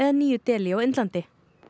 nýju Delí á Indlandi